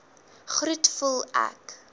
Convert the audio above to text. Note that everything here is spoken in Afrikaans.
groet voel ek